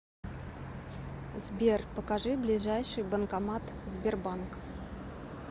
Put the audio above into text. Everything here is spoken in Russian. сбер покажи ближайший банкомат сбербанк